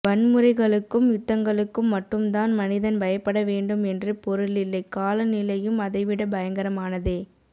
வன்முறைகளுக்கும் யுத்தங்களுக்கும் மட்டும் தான் மனிதன் பயப்பட வேண்டும் என்று பொருளில்லை காலநிலையும் அதைவிடப் பயங்கரமானதே